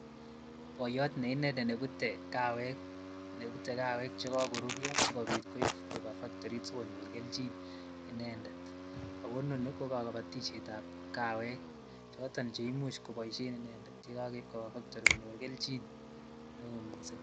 Boyot neinendet nebute kawek chekokoruryo sikobiit koib kobaa factorit sikobiit konyor kelchin inendet ak ko inonii ko kobotishetab kawek choton cheimuch koboishen inendet yekokeib kobaa factory konyor kelchin neoo mising.